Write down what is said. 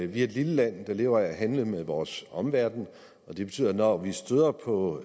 vi er et lille land der lever af at handle med vores omverden og det betyder at når vi støder på